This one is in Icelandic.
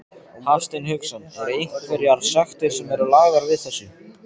Hafsteinn Hauksson: Er einhverjar sektir sem eru lagðar við þessu?